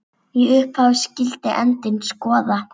Í upphafi skyldi endinn skoða.